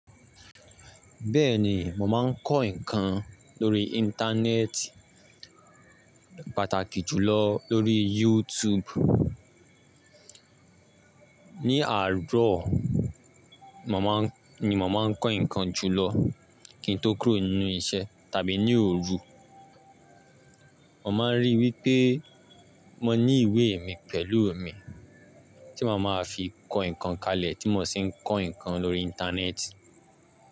Bẹ́ẹ̀ni, mo máa ń kọ́ nǹkan lórí Íńtánẹ́ẹ̀tì, pàtàkì jùlọ lórí YouTube. Ní àárọ̀ ni mo máa ń kọ́ nǹkan jùlọ kí n tó kúrò nínú iṣẹ́ tàbí ní òru. Mo máa ń rí i wípé mo ní ìwé mi pẹ̀lú mi tí mo máa fi kọ́ nǹkan kalẹ̀ tí mo sì ń kọ́ nǹkan lórí Íńtánẹ́ẹ̀tì.